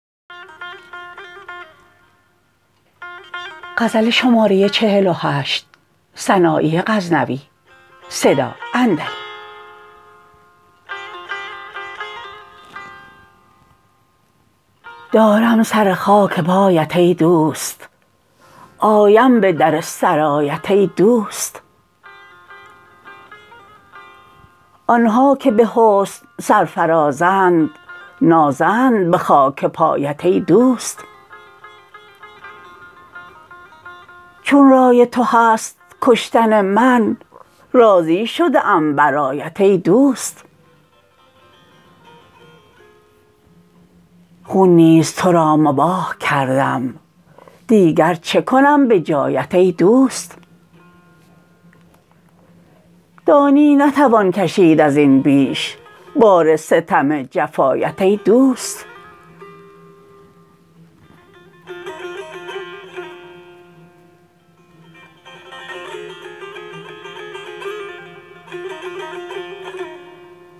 دارم سر خاک پایت ای دوست آیم به در سرایت ای دوست آنها که به حسن سرفرازند نازند به خاکپایت ای دوست چون رای تو هست کشتن من راضی شده ام برایت ای دوست خون نیز ترا مباح کردم دیگر چکنم به جایت ای دوست دانی نتوان کشید ازین بیش بار ستم جفایت ای دوست